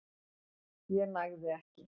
ég nægði ekki.